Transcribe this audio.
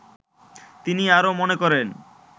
তিনি আরো মনে করেন